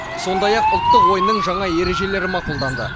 сондай ақ ұлттық ойынның жаңа ережелері мақұлданды